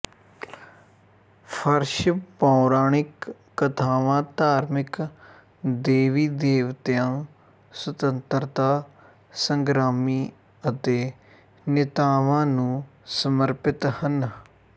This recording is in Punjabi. ਫਰਸ਼ ਪੌਰਾਣਿਕ ਕਥਾਵਾਂ ਧਾਰਮਿਕ ਦੇਵੀ ਦੇਵਤਿਆਂ ਸੁਤੰਤਰਤਾ ਸੰਗਰਾਮੀ ਅਤੇ ਨੇਤਾਵਾਂ ਨੂੰ ਸਮਰਪਿਤ ਹਨ